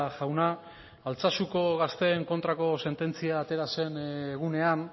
jauna altsasuko gazteen kontrako sententzia atera zen egunean